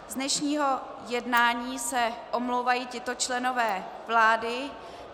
Z dnešního jednání se omlouvají tito členové vlády.